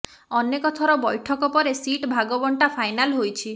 ଅନେକ ଥର ବୈଠକ ପରେ ସିଟ ଭାଗବଣ୍ଟା ଫାଇନାଲ୍ ହୋଇଛି